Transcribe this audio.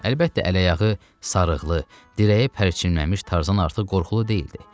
Əlbəttə, ələayaqlı, sarıqlı, dirəyə pərçimlənmiş Tarzan artıq qorxulu deyildi.